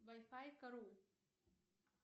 вай фай кару